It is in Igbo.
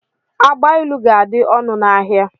Agbailu ga-adị ọnụ n'ahia.